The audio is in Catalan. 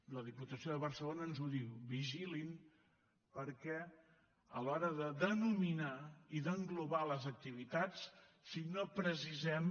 la diputació de barcelona ens ho diu vigilin perquè a l’hora de denominar i d’englobar les activitats si no precisem